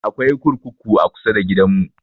Akwai kurkuku a kusa da gidan mu